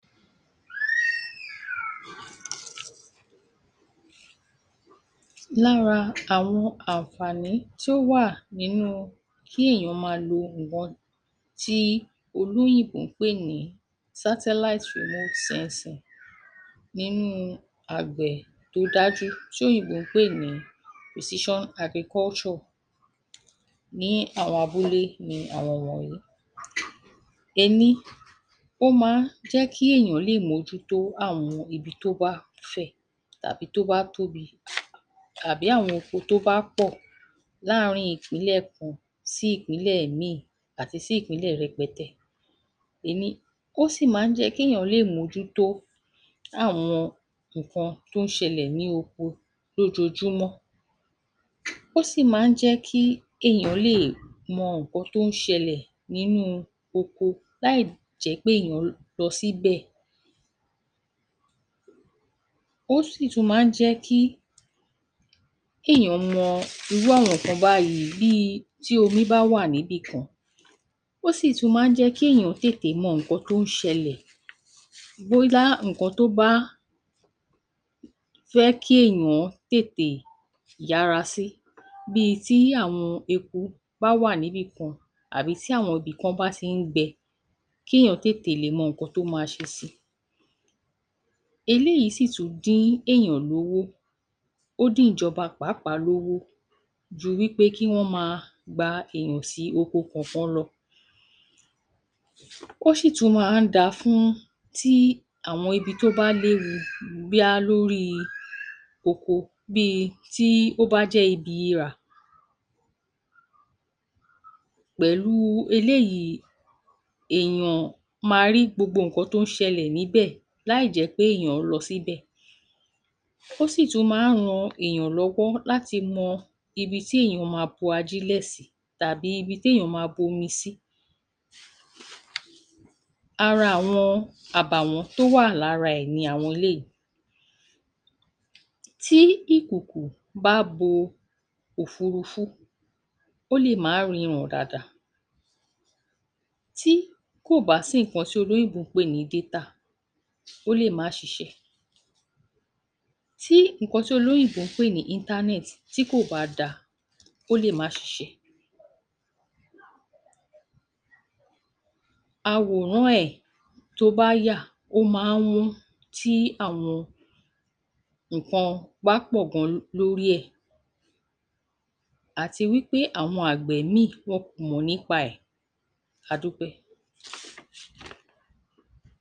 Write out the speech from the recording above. Lára àwọn ànfààní tíó wà nínú kí èèyàn máa lọ ǹgbwọn tí olóyìnbó ń pè ní sátáláít rìmúút sẹnsìn nínú àgbẹ̀ tó dájú tí òyìnbó ń pè ní pòsíṣán agrikọ́ṣọ̀ ní àwọn abúlé ni àwọn wọ̀nyí: Ẹní: ó ma ń jẹ́ kí èèyàn lè mójútó àwọn ibi tó bá fẹ̀ tàbí tó bá tóbi tàbí àwọn oko tó bá pọ̀ láàrin ìpínlẹ̀ kan sí ìpínlẹ̀ mìíìn àti sí ìpínlẹ̀ rẹpẹtẹ. Ení, ó sì máa ń jẹ́ kéèyàn mójútó àwọn nǹkan tó ń ṣẹlẹ̀ ní oko lójoojúmọ́. Ó sì máa ń jẹ́ kí èèyàn lè mọ nǹkan tó ń ṣẹlẹ̀ nínú oko láì jẹ́ pé èèyàn lọ síbẹ̀. Ó sì tún máa ń jẹ́ kí èèyàn mọ irú àwọn nǹkan báyìí bíi ti omi bá wà níbìkan. Ó sì tún máa ń jẹ́ kí èèyàn tètè mọ nǹkan tó ń ṣẹlẹ̀ bóylá nǹkan tó bá fẹ́ kí èèyàn tètè yára sí bíi ti àwọn eku bá wà níbìkan àbí tí ìbìkan bá ti ń gbẹ, kéèyàn tètè lè mọ nǹkan tó máa ṣe sí i. Eléìí sì tún dín èèyàn lówó. Ó dín ìjọba pàápàá lówó ju wí pé kí wọn máa gba èèyàn sí oko kọ̀kan lọ. Ó sì tún máa ń da fún tí àwọn ibi tó bá léwu bóyá lórí oko bíi tí ó bá jẹ́ ibi irà. Pẹ̀lúu eléyìí èèyàn máa rí gbogbo nǹkan tó ń ṣẹlẹ̀ níbẹ̀ láì jẹ́ pé èèyàn lọ síbẹ̀. Ó sì tún máa ń ran èèyàn lọ́wọ́ láti mọ ibi tí èèyàn ma bo ajílẹ̀ sí tàbí ibi téèyàn ma bomi sí. Ara àwọn àbàwọ́n tó wà lára ẹ̀ ni àwọn eléìí: Tí, ìkòkò bá bo òfurufú ó lè má ríran dáadáa. Tí, kò bá sí nǹkan tí olóyìnbó ń pè ní détà ó lè má ṣiṣẹ́ Tí, nǹkan tí olóyìnbó ń pè ní íńtánẹ́ẹ̀tì tí kò bá da, ó lè má ṣiṣẹ́ Àwòrán ẹ̀ tó bá a yà ó ma ń wọ́n tí àwọn nǹkan bá pọ̀ lórí ẹ̀. Àti wí pé àwọn àgbẹ̀ mìíìn wọn kò mọ̀ nípa ẹ̀. A dúpẹ́